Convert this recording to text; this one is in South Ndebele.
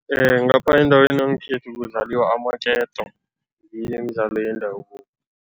Ngapha endaweni yangekhethu kudlaliwa amaketo, ngiyo imidlalo yendabuko.